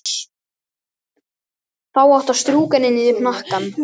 Þá áttu að strjúka henni niður hnakkann.